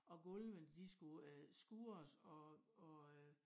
Og gulvene de skulle øh skurres og og øh